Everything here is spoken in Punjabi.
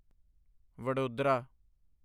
ਵਡੋਦਰਾ